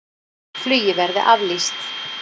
Flugi verði aflýst